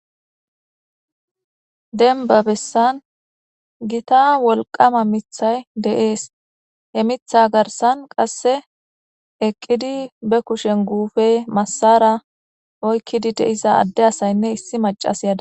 denba bessan gita wolqama mithay deees he mitha garsan qasse eqqidi be kushen guufe massara oykkidi deisa adde asaynne issi macas yada